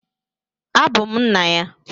Abum nna ya.